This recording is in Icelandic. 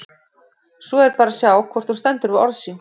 Svo er bara að sjá hvort hún stendur við orð sín!